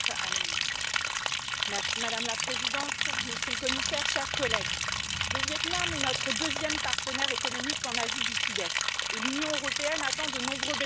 Madame la Présidente, Monsieur le Commissaire, chers collègues, le Viêt Nam est notre deuxième partenaire économique en Asie du Sud Est et l'Union européenne attend de nombreux bénéfices de cet accord commercial.